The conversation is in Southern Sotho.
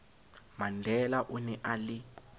mandela o ne a le